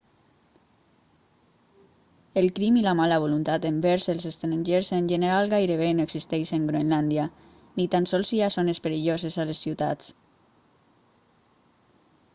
el crim i la mala voluntat envers els estrangers en general gairebé no existeixen groenlàndia ni tan sols hi ha zones perilloses a les ciutats